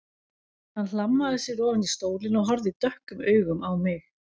Hann hlammaði sér ofan í stólinn og horfði dökkum augum á mig.